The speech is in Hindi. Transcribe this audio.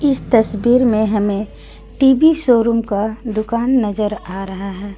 तस्वीर में हमें टी_वी शोरूम का दुकान नजर आ रहा है।